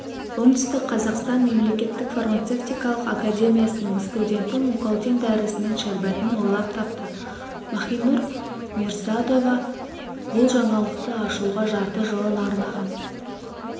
оңтүстік қазақстан мемлекеттік фармацевтикалық академиясының студенті мукалтин дәрісінің шәрбатын ойлап тапты махинур мирсоатова бұл жаңалықты ашуға жарты жылын арнаған